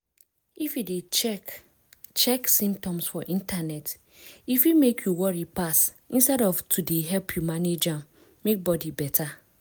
if you dey check check symptoms for internet e fit make you worry pass instead of to dey help you manage am make body better.